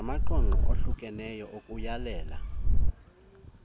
namaqondo ohlukeneyo okuyalela